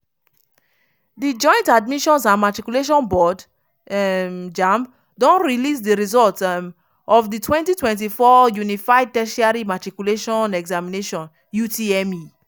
di joint admissions and matriculation board um (jamb) don release di results um of di 2024 unified tertiary matriculation examination (utme).